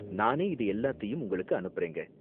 நானே இது எல்லாத்தையும் உங்களுக்கு அனுப்புறேங்க.